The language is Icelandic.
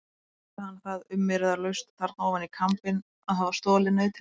Játti hann það umyrðalaust þarna ofan í kambinn að hafa stolið nautinu.